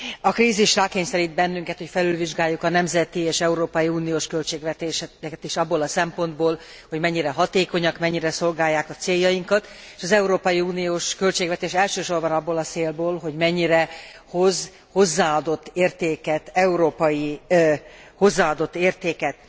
A krízis rákényszerít bennünket, hogy felülvizsgáljuk a nemzeti és európai uniós költségvetéseket is abból a szempontból, hogy mennyire hatékonyak, mennyire szolgálják a céljainkat, elsősorban abból a célból, hogy mennyire hoz hozzáadott értéket, európai hozzáadott értéket.